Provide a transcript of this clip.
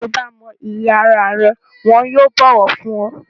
Tí o bá mọ iyì ara rẹ wọn yóò bọ̀wọ̀ fún ọ.